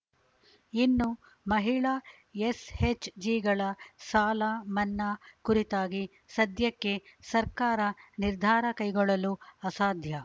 ಇನ್ನು ಮಹಿಳಾ ಎಸ್‌ಎಚ್‌ಜಿಗಳ ಸಾಲ ಮನ್ನಾ ಕುರಿತಾಗಿ ಸದ್ಯಕ್ಕೆ ಸರ್ಕಾರ ನಿರ್ಧಾರ ಕೈಗೊಳ್ಳಲು ಅಸಾಧ್ಯ